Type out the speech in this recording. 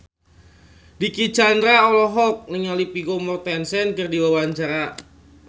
Dicky Chandra olohok ningali Vigo Mortensen keur diwawancara